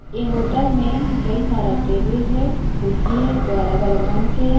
ये होटल में कई सारा टेबल हे कुर्सी हे जो अलग-अलग रंग के है।